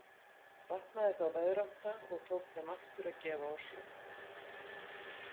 Batnaði þá veðrátta og tók þeim aftur að gefa á sjó.